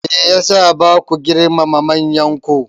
Me ya sa ba ku girmama manyanku?